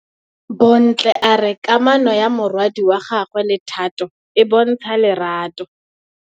Bontle a re kamanô ya morwadi wa gagwe le Thato e bontsha lerato.